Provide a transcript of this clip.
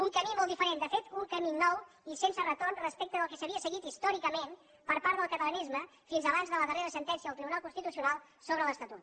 un camí molt diferent de fet un camí nou i sense retorn respecte del que s’havia seguit històricament per part del catalanisme fins abans de la darrera sentència del tribunal constitucional sobre l’estatut